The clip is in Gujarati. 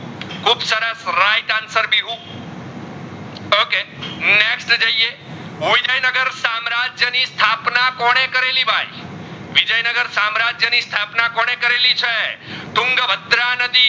કે next જઇયે વિજયનાગર સામ્રાજ્ય ની સ્તાપાનાં કોને કરાળી ભાઈ વિજય નાગર સામ્રાજ્ય ની સ્તાપાનાં કોને કરાળી છે તુંગ ભદ્રનદી